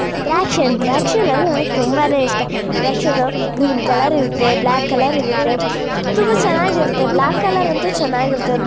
ದ್ರಾಕ್ಷಿ ಹಣ್ಣು ದ್ರಾಕ್ಷಿ ಹಣ್ಣು ಅಂದ್ರೆ ನನಗೆ ತುಂಬಾನೆ ಇಷ್ಟ ದ್ರಾಕ್ಷಿ ಹಣ್ಣು ಗ್ರೀನ್ ಕಲರ್ ಇರುತ್ತೆ ಬ್ಲಾಕ್ ಕಲರ್ ಇರುತ್ತೆ ತುಂಬಾ ಚೆನ್ನಾಗಿರುತ್ತೆ ಬ್ಲಾಕ್ ಕಲರ್ ಅಂತೂ ಚೆನ್ನಾಗಿರುತ್ತವೆ.